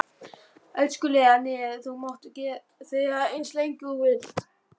Elskulega nef þú mátt þefa eins lengi og þú vilt.